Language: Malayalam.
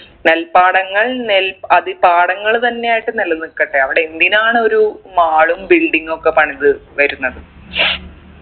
നെൽപ്പാടങ്ങൾ നെൽ അത് ഈ പടങ്ങൾ തന്നെ ആയിട്ട് നിലനിക്കട്ടെ അവിടെ എന്തിനാണ് ഒരു mall ഉം building ഒക്കെ പണിത് വരുന്നത്